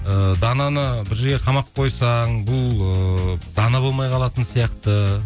ыыы дананы бір жерге қамап қойсаң бұл ыыы дана болмай қалатын сияқты